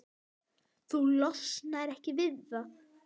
Þú losnar ekki við það.